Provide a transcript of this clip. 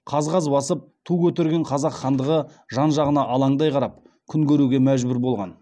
қаз қаз басып ту көтерген қазақ хандығы жан жағына алаңдай қарап күн көруге мәжбүр болған